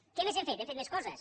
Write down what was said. què més hem fet hem fet més coses